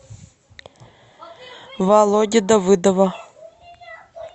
володи давыдова